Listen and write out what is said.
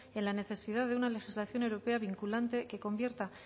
en la necesidad de una legislación europea vinculante que convierta